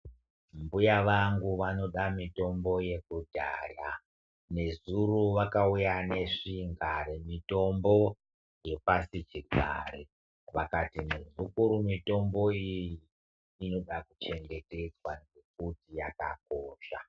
Mbuya vangu vanoda mutombo yekudhaya nezuro vakauya nezvinga yemutombo yepasichigare vakati muzukuru mutombo iyi inoda kuchengetedzwa nekuti yakakosha.